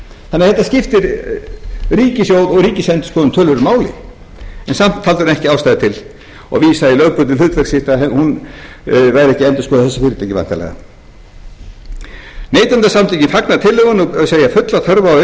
þannig að þetta skiptir ríkissjóð og ríkisendurskoðun töluverðu máli en samt töldu menn ekki ástæðu til og vísa í lögbundið hlutverk sitt að hún væri ekki að endurskoða þessi fyrirtæki væntanlega neytendasamtökin fagna tillögunni og segja fulla þörf á að